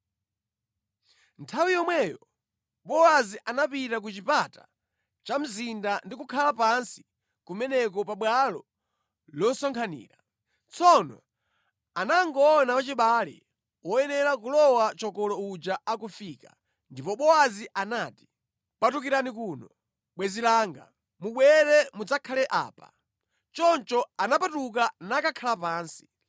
Nthawi yomweyo Bowazi anapita ku chipata cha mzinda ndi kukhala pansi kumeneko pabwalo losonkhanira. Tsono anangoona wachibale woyenera kulowa chokolo uja akufika. Ndipo Bowazi anati, “Patukirani kuno, bwenzi langa. Mubwere mudzakhale apa.” Choncho anapatuka nakakhala pansi.